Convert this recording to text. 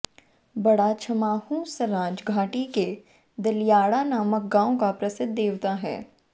बड़ा छमाहू सराज घाटी के दलियाड़ा नामक गांव का प्रसिद्ध देवता है